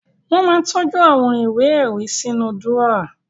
Wọ́n máa ń tọ́jú àwọn ìwé-ẹ̀rí sínú dúrọ́à.